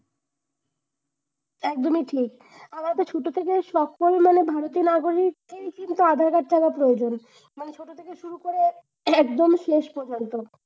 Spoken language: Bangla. একদমই ঠিক। আমাদের ছোট থেকে সবসময় মানে বাড়িতে না বলেই এই কিন্তু আধার-কার্ডটা আবার প্রয়োজন। মানে ছোট থেকে শুরু করে একদম শেষ পর্যন্ত।